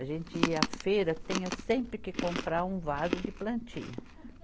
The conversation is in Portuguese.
A gente ia à feira, tinha sempre que comprar um vaso de plantinha.